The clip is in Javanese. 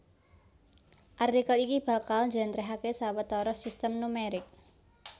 Artikel iki bakal njlèntrèhaké sawetara sistem numerik